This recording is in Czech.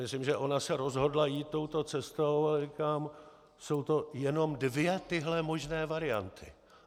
Myslím, že ona se rozhodla jít touto cestou, a říkám, jsou to jenom dvě tyhle možné varianty.